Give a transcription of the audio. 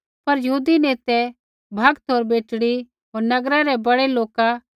पर यहूदी नेतै भक्त होर बेटड़ी होर नगरै रै बड़ै लोका बै उकसाइया पौलुस होर बरनबास आपणै इलाकै न खोलै